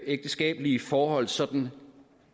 ægteskabelige forhold sådan